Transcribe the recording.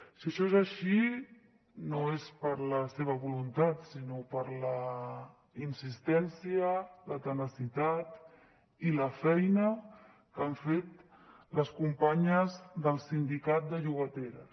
si això és així no és per la seva voluntat sinó per la insistència la tenacitat i la feina que han fet les companyes del sindicat de llogateres